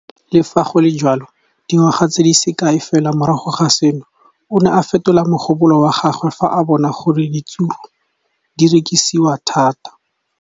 Le fa go le jalo, dingwaga di se kae fela morago ga seno, o ne a fetola mogopolo wa gagwe fa a bona gore diratsuru di rekisiwa thata.